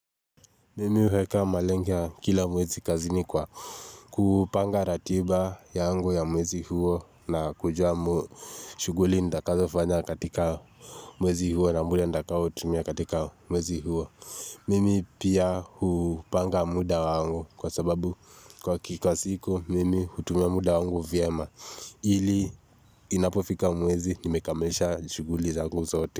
Mimi huweka malengia kila mwezi kazi ni kwa kupanga ratiba yangu ya mwezi huo na kujua shuguli ndakazo fanya katika mwezi huo na mle ndakazo tumia katika mwezi huo. Mimi pia hupanga muda wangu kwa sababu kwa kikwa siku mimi hutumia muda wangu vyema ili inapofika mwezi nimekamisha shuguli zangu sote.